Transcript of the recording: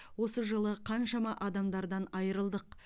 осы жылы қаншама адамдардан айырылдық